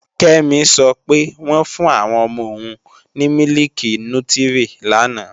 Kẹ́mi sọ pé, wọ́n fún àwọn ọmọ òun ní mílìkì nútírí lánàá